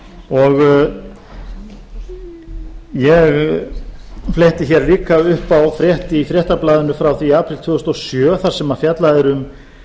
og ég fletti hér líka upp á frétt í fréttablaðinu frá því í apríl tvö þúsund og sjö þar sem fjallað er um